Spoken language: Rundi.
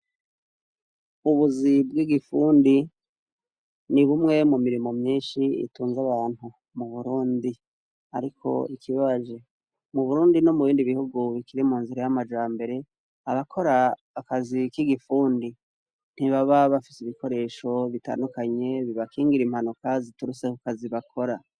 Ubuzi bwigifundi ni bumwe mumirimo myinshi itunze abantu mu Burundi ariko ikibabaje mu Burundi no mubindi bihugu bikiri munzira yamajambere a bakora akazibkigifundi ntubaba bafise ibikoresho bitandukanye bibakingira imanuka ziturutse kukazi bakora.